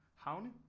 Havne